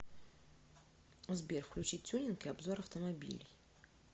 сбер включи тюнинг и обзор автомобилей